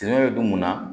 bɛ don mun na